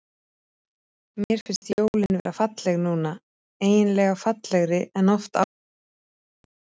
Mér finnst jólin vera falleg núna, eiginlega fallegri en oft áður.